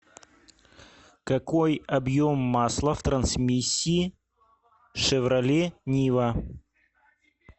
какой объем масла в трансмиссии шевроле нива